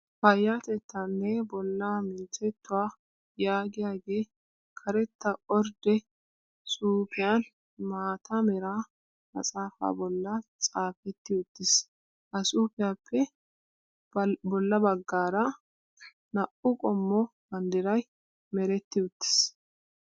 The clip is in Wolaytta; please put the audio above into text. Payyatettaanne bollaa minttettuwaa yaagiyaagee karetta ordde xuupiyan maata mera maxxaapa bollan xaapetti uttis. Ha xuupiyaappe balla baggaara naa'u qommo banddirayi meretti uttis.